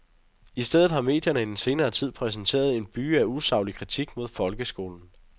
I stedet har medierne i den seneste tid præsenteret en byge af usaglig kritik mod folkeskolen.